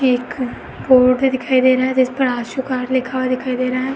एक दिखाई दे रहा है जिसपर आशु कार लिखा हुआ दिखाई दे रहा है।